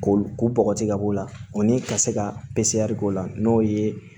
Ko ko bɔgɔti ka b'o la o ni ka se ka k'o la n'o ye